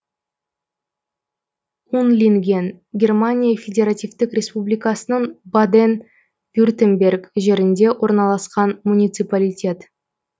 унлинген германия федеративтік республикасының баден вюртемберг жерінде орналасқан муниципалитет